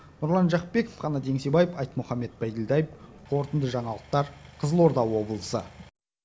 нұрлан жақыпбеков қанат еңсебаев айтмұхаммед байділдаев қорытынды жаңалықтар қызылорда облысы